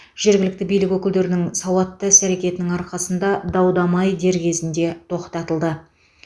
жергілікті билік өкілдерінің сауатты іс әрекетінің арқасында дау дамай дер кезінде тоқтатылды